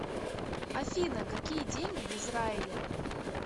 афина какие деньги в израиле